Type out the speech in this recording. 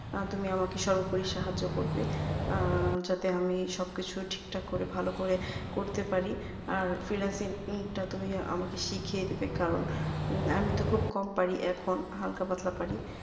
আর তুমি আমাকে সর্বোপরি সাহায্য করবে আহ যাতে আমি সব কিছু ঠিক থাকে করে ভালো করে করতে পারি আর freelancing তা তুমি আমাকে শিখিয়ে দিবে কারণ আমিতো খুব কম পারি এখন হালকা পাতলা পারি